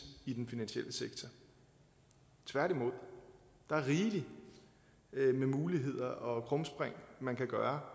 i den finansielle sektor tværtimod der er rigeligt med muligheder og krumspring man kan gøre